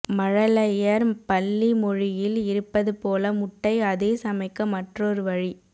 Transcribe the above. மழலையர் பள்ளி மொழியில் இருப்பது போல முட்டை அதே சமைக்க மற்றொரு வழி